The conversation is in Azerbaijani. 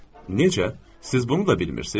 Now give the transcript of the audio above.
Necə? Siz bunu da bilmirsiz?